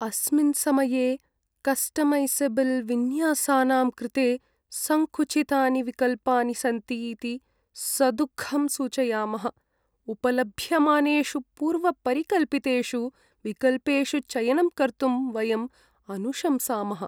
अस्मिन् समये कस्टमैसेबल्विन्यासानां कृते सङ्कुचितानि विकल्पानि सन्ति इति सदुःखं सूचयामः, उपलभ्यमानेषु पूर्वपरिकल्पितेषु विकल्पेषु चयनं कर्तुं वयं अनुशंसामः।